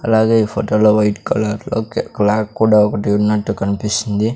అలాగే ఈ ఫోటోలో వైట్ కలర్లో క్లాక్ కూడా ఒకటి ఉన్నట్టు కనిపిస్తుంది.